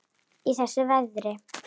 Í þessu veðri?